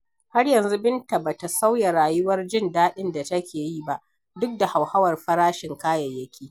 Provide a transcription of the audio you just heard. Har yanzu Binta ba ta sauya rayuwar jin daɗin da take yi ba, duk da hauhawar farashin kayayyaki.